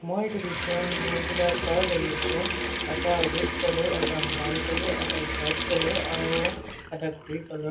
মই এটো পিকচাৰ ত বহুবিলাক কাৰ দেখিছোঁ এটা ৰেড কালাৰ এটা ব্ৰাউন কালাৰ এটা হোৱাইট কালাৰ আৰু এটা গ্ৰে কালাৰ ।